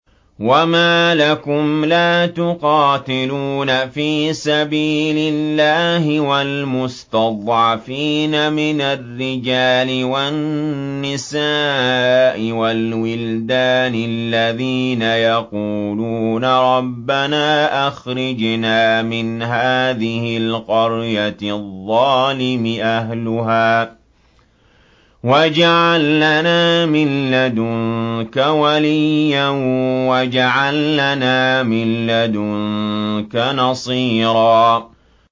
وَمَا لَكُمْ لَا تُقَاتِلُونَ فِي سَبِيلِ اللَّهِ وَالْمُسْتَضْعَفِينَ مِنَ الرِّجَالِ وَالنِّسَاءِ وَالْوِلْدَانِ الَّذِينَ يَقُولُونَ رَبَّنَا أَخْرِجْنَا مِنْ هَٰذِهِ الْقَرْيَةِ الظَّالِمِ أَهْلُهَا وَاجْعَل لَّنَا مِن لَّدُنكَ وَلِيًّا وَاجْعَل لَّنَا مِن لَّدُنكَ نَصِيرًا